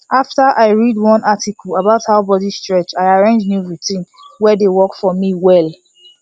after i read one article about body stretch i arrange new routine wey dey work for me well